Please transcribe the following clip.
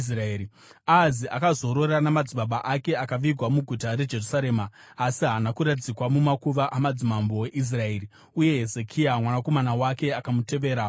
Ahazi akazorora namadzibaba ake akavigwa muguta reJerusarema, asi haana kuradzikwa mumakuva amadzimambo eIsraeri. Uye Hezekia mwanakomana wake akamutevera paumambo.